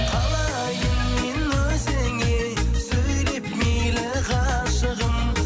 қалайын мен өзіңе сөйлеп мейлі ғашығым